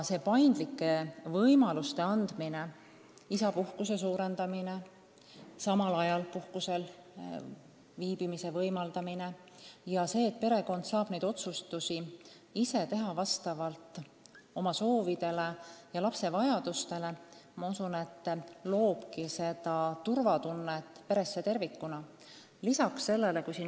Paindlike võimaluste andmine, isapuhkuse pikendamine, samal ajal puhkusel viibimise võimaldamine ja see, et perekond saab neid otsustusi teha vastavalt oma soovidele ja lapse vajadustele – ma usun, et kõik see loob perele turvatunnet.